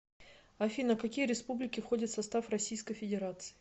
афина какие республики входят в состав российской федерации